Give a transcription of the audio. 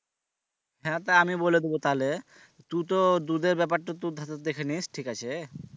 হ্যাঁ তা আমি বলে দিবো তালে তুই তো দুধের ব্যাপারটা তু ধর দেখে নিস ঠিক আছে?